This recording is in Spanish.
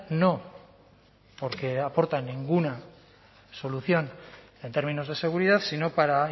no porque aportan ninguna solución en términos de seguridad sino para